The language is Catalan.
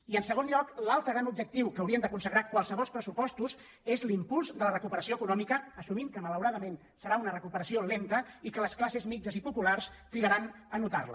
i en segon lloc l’altre gran objectiu que haurien de consagrar qualssevol pressupostos és l’impuls de la re·cuperació econòmica assumint que malauradament serà una recuperació lenta i que les classes mitjanes i populars trigaran a notar·la